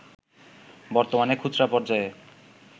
বর্তমানে খুচরা পর্যায়ে